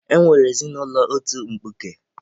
E nwere ezinụlọ otu mkpuke.